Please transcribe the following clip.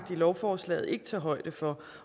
lovforslaget ikke tage højde for